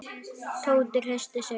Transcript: Tóti hristi sig.